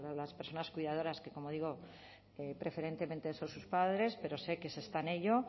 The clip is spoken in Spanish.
las personas cuidadoras que como digo preferentemente son sus padres pero sé que se está en ello